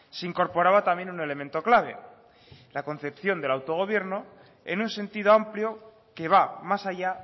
se incorporaba también un elemento clave la concepción del autogobierno en un sentido amplio que va más allá